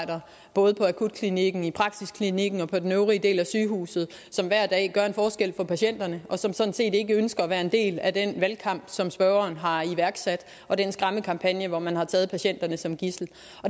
både på akutklinikken i praksiskliniken og på den øvrige del af sygehuset som hver dag gør en forskel for patienterne og som sådan set ikke ønsker at være en del af den valgkamp som spørgeren har iværksat og den skræmmekampagne hvor man har taget patienterne som gidsel